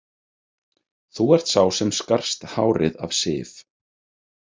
Þú ert sá sem skarst hárið af Sif